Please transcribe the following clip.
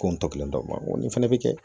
Ko n tɔkelen ma n ko nin fɛnɛ bɛ kɛ